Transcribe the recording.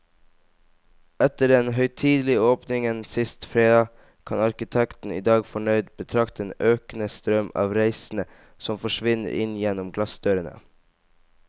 Etter den høytidelige åpningen sist fredag, kan arkitekten i dag fornøyd betrakte den økende strøm av reisende som forsvinner inn gjennom glassdørene.